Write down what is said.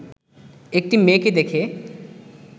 একটি মেয়েকে দেখে